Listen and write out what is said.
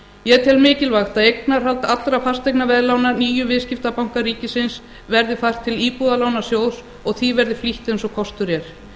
ég tel mikilvægt að eignarhald allra fasteignaveðlána níu viðskiptabanka ríkisins verði fært til íbúðalánasjóðs og því verði flýtt eins og kostur er